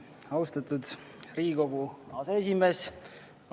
Austatud Riigikogu aseesimees!